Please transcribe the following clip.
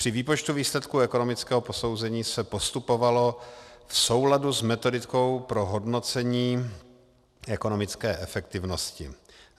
Při výpočtu výsledků ekonomického posouzení se postupovalo v souladu s metodikou pro hodnocení ekonomické efektivnosti.